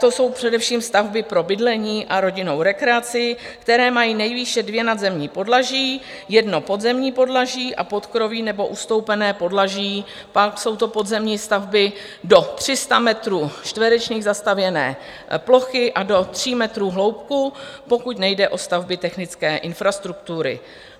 To jsou především stavby pro bydlení a rodinnou rekreaci, které mají nejvýše dvě nadzemní podlaží, jedno podzemní podlaží a podkroví nebo ustoupené podlaží, pak jsou to podzemní stavby do 300 metrů čtverečních zastavěné plochy a do 3 metrů hloubky, pokud nejde o stavby technické infrastruktury.